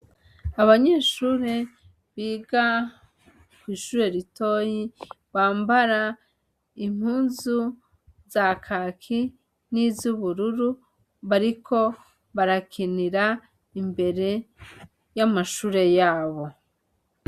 Abanyeshure biga kwishure ritoya bambara impuzu za kaki nizubururu bariko barakinira imbere yamashure yabo.